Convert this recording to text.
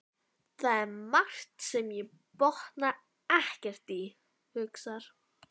Það er margt sem ég botna ekkert í, hugsar